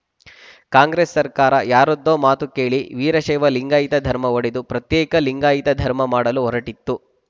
ಕಾಂಗ್ರೆಸ್‌ ಸರ್ಕಾರ ಯಾರದ್ದೋ ಮಾತು ಕೇಳಿ ವೀರಶೈವ ಲಿಂಗಾಯತ ಧರ್ಮ ಒಡೆದು ಪ್ರತ್ಯೇಕ ಲಿಂಗಾಯತ ಧರ್ಮ ಮಾಡಲು ಹೊರಟಿತ್ತು